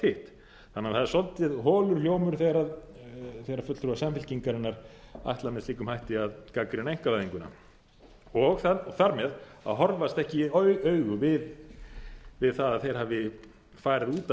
hitt það er því svolítið holur hljómur þegar fulltrúar samfylkingarinnar ætla með slíkum hætti að gagnrýna einkavæðinguna og þar með að horfast ekki í augu við það að þeir hafi farið út